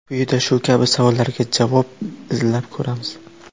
Quyida shu kabi savollarga javob izlab ko‘ramiz.